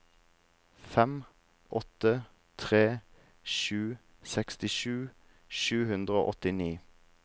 fem åtte tre sju sekstisju sju hundre og åttini